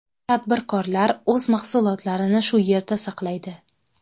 Tadbirkorlar o‘z mahsulotlarini shu yerda saqlaydi.